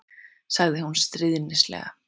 sagði hún stríðnislega.